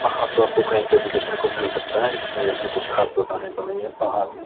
पहाड़ तो आपको कहीं पे भी देखने को मिल सकता है इसलिए इसमें कुछ खास बताने का नहीं है पहाड़ में।